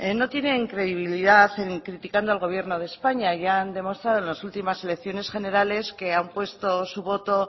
no tienen credibilidad criticando al gobierno de españa ya han demostrado en las últimas elecciones generales que han puesto su voto